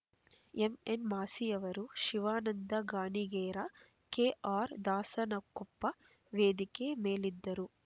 MN ಮಾಸಿಯವರ ಶಿವಾನಂದ ಗಾಣಿಗೇರ ಕೆಆರ್ದಾಸನಕೊಪ್ಪ ವೇದಿಕೆ ಮೇಲಿದ್ದರು